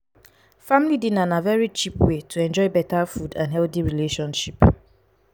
family dinner na very cheap way to enjoy better food and healthy relationship